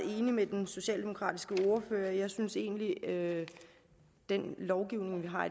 enig med den socialdemokratiske ordfører jeg synes egentlig at den lovgivning vi har